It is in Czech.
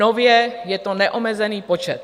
Nově je to neomezený počet.